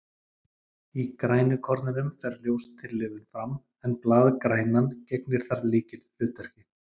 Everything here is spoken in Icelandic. Í grænukornunum fer ljóstillífun fram, en blaðgrænan gegnir þar lykilhlutverki.